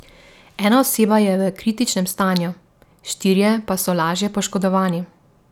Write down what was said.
Ena oseba je v kritičnem stanju, štirje pa so lažje poškodovani.